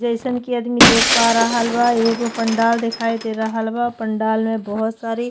जैसन की आदमी देख पा रहल बा एगो पंडाल दिखाई दे रहल बा पंडाल में बहुत सारी --